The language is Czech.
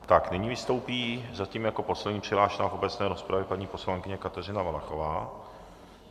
Tak, nyní vystoupí zatím jako poslední přihlášená v obecné rozpravě, paní poslankyně Kateřina Valachová.